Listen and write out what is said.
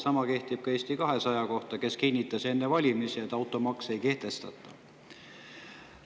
Sama kehtib ka Eesti 200 kohta, kes kinnitas enne valimisi, et automaksu ei kehtestata.